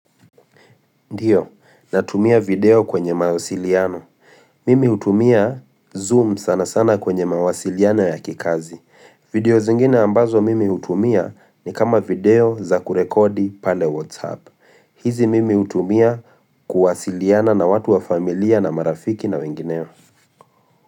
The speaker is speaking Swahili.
Ndiyo, natumia video kwenye mawasiliano. Mimi hutumia zoom sana sana kwenye mawasiliano ya kikazi. Video zingine ambazo mimi hutumia ni kama video za kurekodi pale WhatsApp. Hizi mimi hutumia kuwasiliana na watu wa familia na marafiki na wengineo.